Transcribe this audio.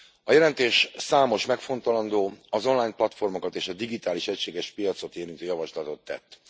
A jelentés számos megfontolandó, az online platformokat és a digitális egységes piacot érintő javaslatot tett.